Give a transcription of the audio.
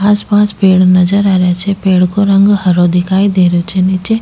आस पास पेड़ नजर आ रिया छे पेड़ को रंग हरो दिखाई दे रहियो छे नीचे --